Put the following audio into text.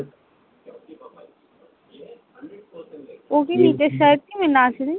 ও কি বিদেশে আছে নাজরীন?